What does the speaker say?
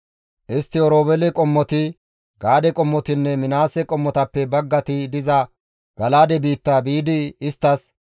Istti Oroobeele qommoti, Gaade qommotinne Minaase qommotappe baggati diza Gala7aade biitta biidi isttas,